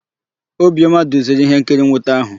Obiọma duziri íhénkiri nnwute áhụ̀.